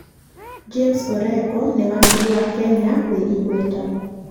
James Orengo nĩ wakiri wa Kenya wĩ igweta.